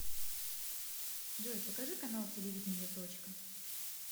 джой покажи канал телевидения точка